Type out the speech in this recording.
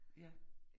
Ja